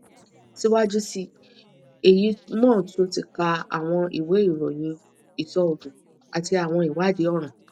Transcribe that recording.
siwaju si eyi mo tun ti ka awọn iwe iroyin iṣoogun ati awọn iwadii ọran